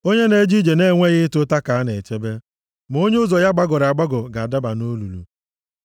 Onye na-eje ije na-enweghị ịta ụta ka a na-echebe, ma onye ụzọ ya gbagọrọ agbagọ ga-adaba nʼolulu.